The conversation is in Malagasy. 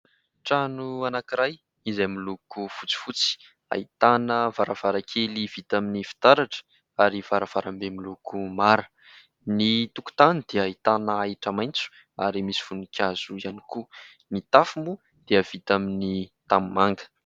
Trano anankiray izay miloko fotsifotsy, ahitana varavarakely vita amin'ny fitaratra ary varavarambe miloko mara. Ny tokotany dia ahitana ahitra maitso ary misy voninkazo ihany koa. Ny tafo moa dia vita amin'ny tanimanga.